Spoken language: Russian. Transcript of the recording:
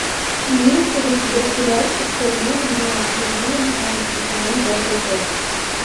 имеется ли у тебя сериальчик чернобыль зона отчуждения пятнадцатый сезон пятая часть